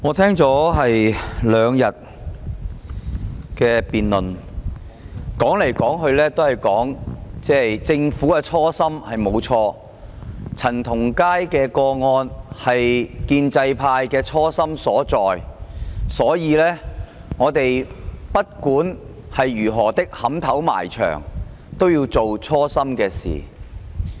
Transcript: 我聽了兩天的辯論，說來說去也是政府的初心沒有錯，陳同佳的個案是建制派的初心所在，所以不管如何"撼頭埋牆"也要做初心的事情。